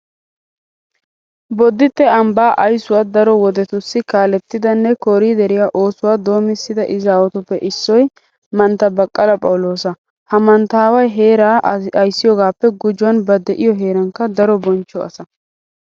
Bodditte ambbaa aysuwa daro wodetussi kaalettidanne kooriideriya oosuwa doomissida izaawatuppe issoy mantta baqqala phawuloosa. Ha manttaaway heeraa ayssiyogaappe gujuwan ba de'iyo heerankka daro bonchcho asa.